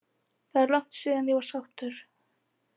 Það er langt síðan ég var sáttur.